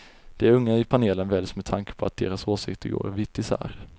De unga i panelen väljs med tanke på att deras åsikter går vitt isär.